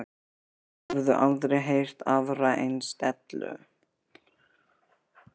Þeir höfðu aldrei heyrt aðra eins dellu.